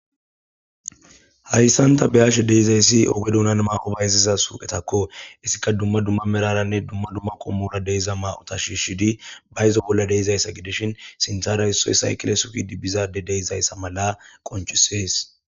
hayssanta beyashe deizayssi oge duunan maaqobayziza suqetakko issika dumma dumma meraranne dumma dumma qommura deiza ma7ota shiishidi bayzo bolla deizayssa gidishin sinthara issoy saykile sufidi bizaade deizayssa mala qonchisees